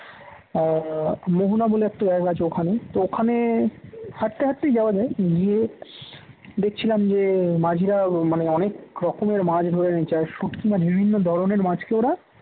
আহ মোহনা বলে একটা জায়গা আছে ওখানে তো ওখানে হাঁটতে হাঁটতে যাওয়া যায় গিয়ে দেখছিলাম যে মাঝিরা মানে অনেক রকমের মাছ ধরে এনেছে আর শুটকি মাছ আর বিভিন্ন ধরনের মাছকে ওরা